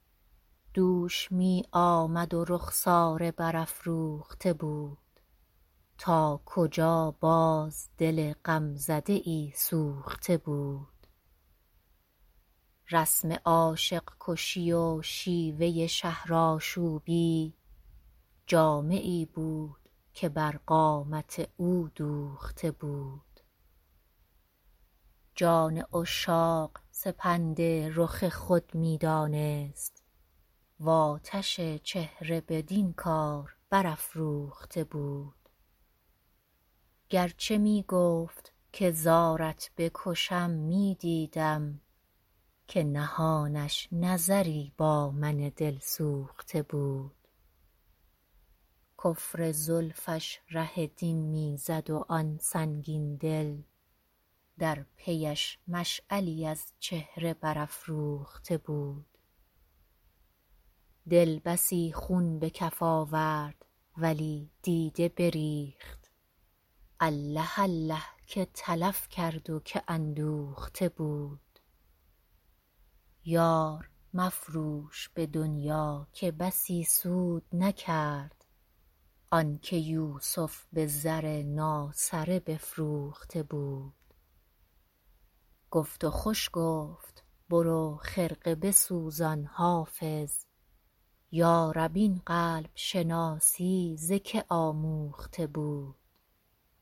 دوش می آمد و رخساره برافروخته بود تا کجا باز دل غمزده ای سوخته بود رسم عاشق کشی و شیوه شهرآشوبی جامه ای بود که بر قامت او دوخته بود جان عشاق سپند رخ خود می دانست و آتش چهره بدین کار برافروخته بود گر چه می گفت که زارت بکشم می دیدم که نهانش نظری با من دلسوخته بود کفر زلفش ره دین می زد و آن سنگین دل در پی اش مشعلی از چهره برافروخته بود دل بسی خون به کف آورد ولی دیده بریخت الله الله که تلف کرد و که اندوخته بود یار مفروش به دنیا که بسی سود نکرد آن که یوسف به زر ناسره بفروخته بود گفت و خوش گفت برو خرقه بسوزان حافظ یا رب این قلب شناسی ز که آموخته بود